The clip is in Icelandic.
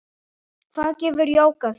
Hvað gefur jógað þér?